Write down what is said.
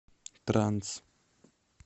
транс